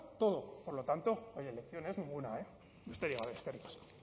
todo por lo tanto oye lecciones ninguna eh besterik gabe eskerrik asko